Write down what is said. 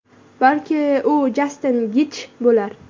Balki, u Jastin Getji bo‘lar?